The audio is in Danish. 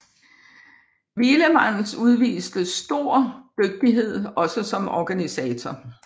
Wielemans udviste stor dygtighed også som organisator